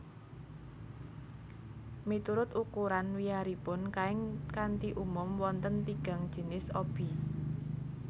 Miturut ukuran wiyaripun kain kanthi umum wonten tigang jinis obi